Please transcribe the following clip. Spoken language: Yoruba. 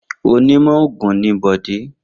Onímọ̀ òògùn ni Bọ̀dé.